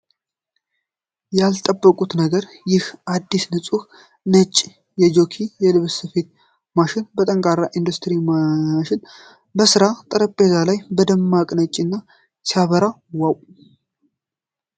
ያልጠበኩት ነገር! ይህ አዲስና ንፁህ ነጭ የጁኪ የልብስ ስፌት ማሽን! ጠንካራው የኢንዱስትሪ ማሽን በሥራ ጠረጴዛው ላይ በደማቅ ነጭነት ሲያበራ ዋው!